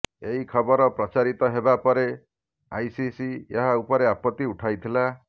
ଏହି ଖବର ପ୍ରଚାରିତ ହେବା ପରେ ଆଇସିସି ଏହା ଉପରେ ଆପତ୍ତି ଉଠାଇଥିଲା